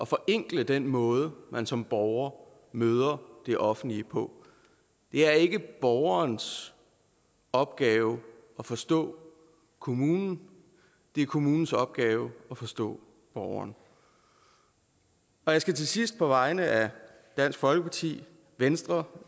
forenkle den måde man som borger møder det offentlige på det er ikke borgerens opgave at forstå kommunen det er kommunens opgave at forstå borgeren jeg skal til sidst på vegne af dansk folkeparti venstre